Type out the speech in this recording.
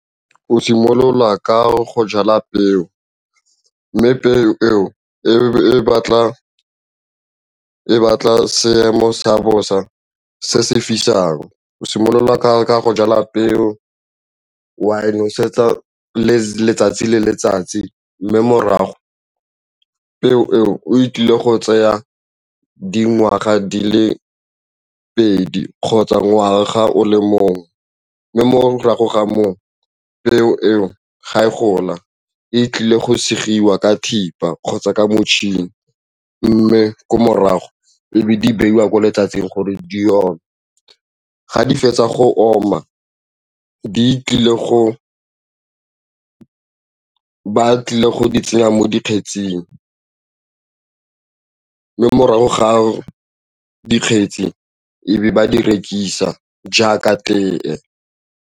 O simolola ka go jala peo mme peo eo e batla seemo sa bosa se se fisang o simolola ka go jala peo wa e nosetsa letsatsi le letsatsi mme morago o tlile go tseya dingwaga di le pedi kgotsa ngwaga o le mongwe mme morago ga moo peo eo ga e gola e tlile go segiwa ka thipa kgotsa ka motšhini mme ko morago e be di beiwa ko letsatsing gore di ome. Ga di fetsa go oma ba tlile go tsena mo dikgetsing morago ga a dikgetsi e be ba di rekisa jaaka tee.